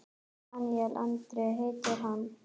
Daníel Andri heitir hann.